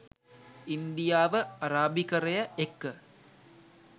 ඉන්දියාව අරාබිකරය එක්ක